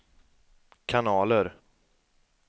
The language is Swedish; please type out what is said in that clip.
kanaler